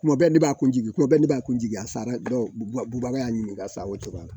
Kuma bɛɛ ne b'a ko jigin kuma bɛɛ ne b'a jigi a sara bubaga y'a ɲininka sa o cogoya